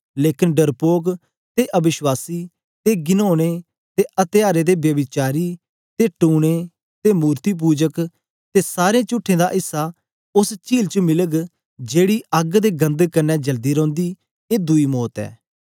लेकन डरपोक ते अवश्वासीयें ते घिनोने ते अत्यारे ते ब्यभिचारयें ते टूने ते मूरतपुजके ते सारें चुठे दा इस्सा उस्स चील च मिलग जेकी अग्ग ते गंधक कन्ने जलदी रौंदी ए दुई मौत ऐ